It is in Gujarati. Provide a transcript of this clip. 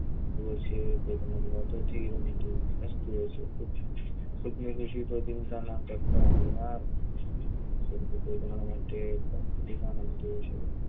અમે તો છે, પણ તમારી વાતો થી અમે તો ફ્રસ્ટ છે ચિંતા ના કરતા એમ તોય તમારા માટે પણ શેર.